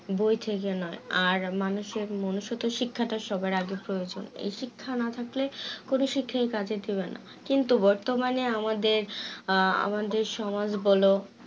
বই থেকে নই আর মানুষের মানুষত্ব শিক্ষাটা সবার আগে প্রয়োজন এই শিক্ষা না থাকলে কোনো শিক্ষাই কাজে দেবে না কিন্তু বর্তমানে আমাদের আহ আমাদের সমাজ বলো